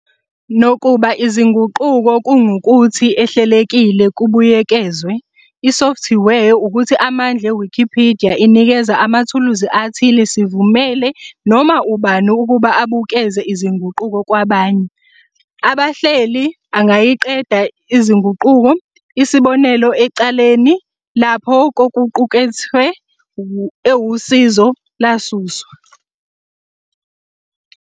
Nakuba izinguquko kungukuthi ehlelekile kubuyekezwe, isofthiwe ukuthi amandla Wikipedia inikeza amathuluzi athile sivumele noma ubani ukuba abukeze izinguquko kwabanye. Abahleli angayiqeda izinguquko, isibonelo ecaleni lapho kokuqukethwe ewusizo lasuswa.